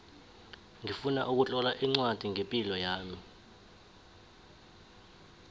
ngifuna ukutlola ncwadi ngepilo yami